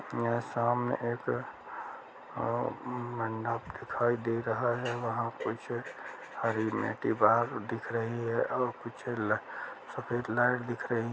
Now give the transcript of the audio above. यहाँ सामने एक अ- मंडप दिखाई दे रहा है वहाँ कुछ हरी में दीवार दिख रही है और कुछ ल- सफेद लाइट दिख रही है।